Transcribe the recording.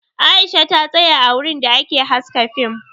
Aisha ta tsaya a wurin da ake haska fim